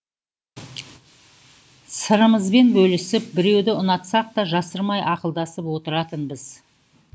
сырымызбен бөлісіп біреуді ұнатсақ та жасырмай ақылдасып отыратынбыз